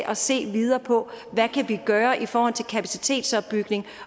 at se videre på hvad vi gøre i forhold til kapacitetsopbygning